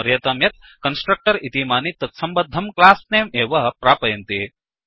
स्मर्यतां यत् कन्स्ट्रक्टर् इमानि तत्सम्बद्धं क्लास्नेम् एव प्रापयन्ति